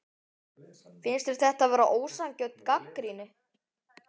Finnst þér þetta vera ósanngjörn gagnrýni?